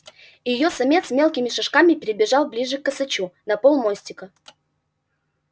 и её самец мелкими шажками перебежал ближе к косачу на полмостика